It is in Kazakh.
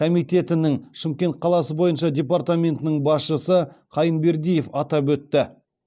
комитетінің шымкент қаласы бойынша департаментінің басшысы қайынбердиев атап өтті